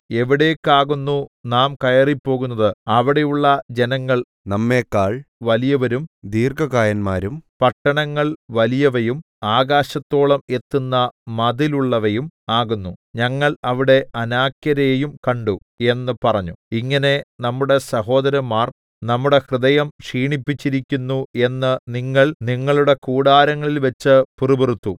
എവിടേക്കാകുന്നു നാം കയറിപ്പോകുന്നത് അവിടെയുള്ള ജനങ്ങൾ നമ്മെക്കാൾ വലിയവരും ദീർഘകായന്മാരും പട്ടണങ്ങൾ വലിയവയും ആകാശത്തോളം എത്തുന്ന മതിലുള്ളവയും ആകുന്നു ഞങ്ങൾ അവിടെ അനാക്യരെയും കണ്ടു എന്ന് പറഞ്ഞു ഇങ്ങനെ നമ്മുടെ സഹോദരന്മാർ നമ്മുടെ ഹൃദയം ക്ഷീണിപ്പിച്ചിരിക്കുന്നു എന്ന് നിങ്ങൾ നിങ്ങളുടെ കൂടാരങ്ങളിൽ വെച്ച് പിറുപിറുത്തു